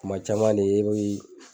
Kuma caman de yoroni